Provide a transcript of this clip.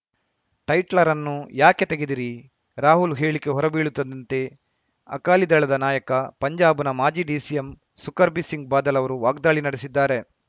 ಟೈಟ್ಲರನ್ನು ಏಕೆ ತೆಗೆದಿರಿ ರಾಹುಲ್‌ ಹೇಳಿಕೆ ಹೊರಬೀಳುತ್ತಿದ್ದಂತೆ ಅಕಾಲಿ ದಳದ ನಾಯಕ ಪಂಜಾಬ್‌ನ ಮಾಜಿ ಡಿಸಿಎಂ ಸುಕರ್ಬಿ ಸಿಂಗ್‌ ಬಾದಲ್‌ ಅವರು ವಾಗ್ದಾಳಿ ನಡೆಸಿದ್ದಾರೆ